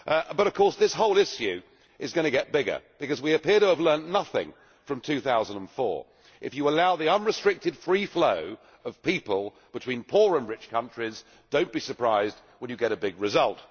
But of course, this whole issue is going to get bigger, because we appear to have learnt nothing from 2004. If you allow the unrestricted free flow of people between poor and rich countries, do not be surprised when you get a big result.